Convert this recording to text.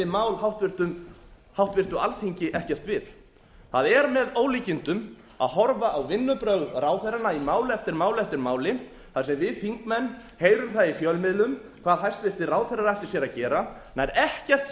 mál háttvirtu alþingi ekkert við það er með ólíkindum að horfa á vinnubrögð ráðherranna í máli eftir máli þar sem við þingmenn heyrum það í fjölmiðlum hvað hæstvirtir ráðherrar ætli sér að gera nær ekkert